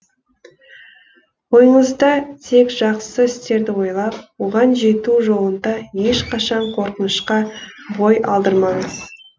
ойыңызда тек жақсы істерді ойлап оған жету жолында ешқашан қорқынышқа бой алдырмаңыз